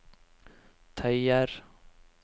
tøyer